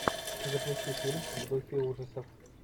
запусти фильм в духе ужасов